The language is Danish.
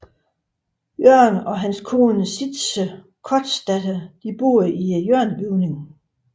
Jørgen og hans kone Citze Kortzdatter boede i hjørnebygningen